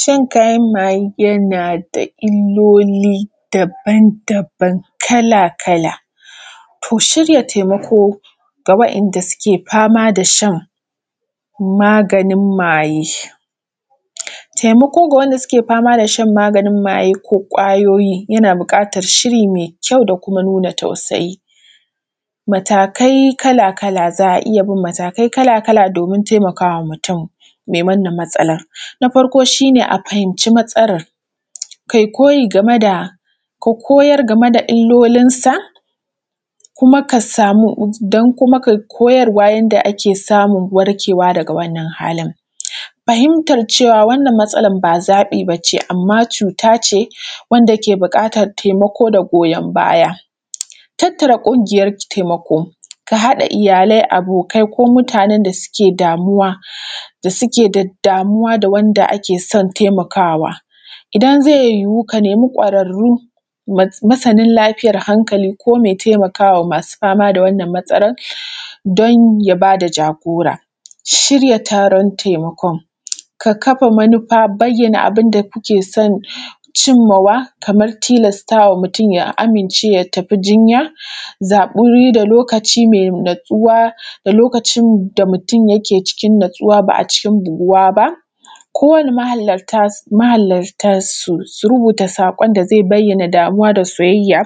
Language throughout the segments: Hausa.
Shan kayan mayeˋ yanaˋ da illoliˋ daban daban kalaˋ kalaˋ, to shirya taimakoˋ ga: waa’yan sukeˋ famaˋ da shan maganin mayeˋ. Taimaako: gˋa wanda sukeˋ shan kayan mayeˋ ko kwayoyiˋ yanaˋ buƙatan shiriˋ mai kyau da kumaˋ nunaˋ tausayiˋ, matakai kalaˋ kalaˋ za a iya bin matakai kalaˋ kalaˋ domin taimakawaˋ mutum mai wannan matsalan. Na farkoˋ shi ne a fahimciˋ matsalar kai koyiˋ gameˋ da, ka koyar gameˋ da illolinsaˋ kumaˋ ka samuˋ, don kumaˋ kai koyarwaˋ yandaˋ ake samun warkewaˋ dagaˋ wannan halin, fahimtar cewaˋ wannan matsalar ba zaɓiˋ baneˋ amma cutaˋ ce wandaˋ ke buƙatan taimakoˋ da goyon bayaˋ. Tattaraˋ ƙungiyar taimakoˋ ka haɗa iyalai, abokai ko mutanen sa sukeˋ damuwaˋ, da sukeˋ da damuwaˋ ga wandaˋ ake son taimakawaˋ. Idan ze yiwuˋ ka nemiˋ kwararoˋ masanaˋ lafiyan hankaliˋ ko mai taimakawaˋ mai famaˋ da wannan matsalan don ya bada jagoraˋ. Shiryaˋ taron taimakoˋ ka kaffa manufaˋ, bayyanaˋ abindaˋ kukeˋ son cimmawaˋ kaman tilastawaˋ mutum ya aminceˋ ya tafiˋ jinyaˋ, zaɓiˋ lokacin natsuwaˋ, da lokacin natsuwaˋ, da lokacin da mutum yikeˋ cikin natsuwaˋ ba a cikin buguwaˋ ba, ko waniˋ mahalarta su rubutaˋ sakon da zai bayyanaˋ damuwaˋ da soyayya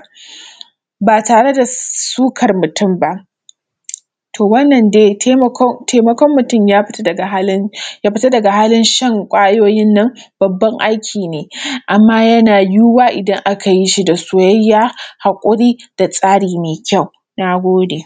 ba tareˋ da sukar mutum ba. To wannan dai taimakon mutum ya fitaˋ dagaˋ halin, ya fitaˋ dagaˋ halin shan kwayoyin nan babban aiki ne, amma yanaˋ yiwuwaˋ idan akayiˋ shi da soyayya haƙuriˋ da tsariˋ mai kyau. Na godeˋ.